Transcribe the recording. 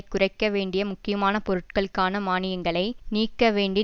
குறைக்க வேண்டிய முக்கியமான பொருட்களுக்கான மானியங்களை நீக்க வேண்டிய